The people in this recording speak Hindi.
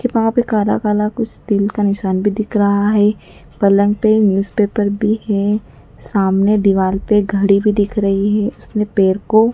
वहां पर कला कला कुछ तिल का निशान भी दिख रहा है पलंग पे न्यूज़ पेपर भी है सामने दीवार पर घड़ी भी दिख रही है उसने पैर को--